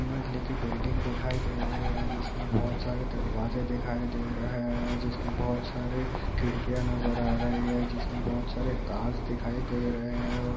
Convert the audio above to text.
मजीले की बिल्डिंग दिखाई दे रही है जिसमें बहुत सारे दरवाजे दिखाई दे रहे हैं जिसमें बहुत सारे खिड़कियाँ नजर आ रही हैं कांच दिखाई दे रहे हैं और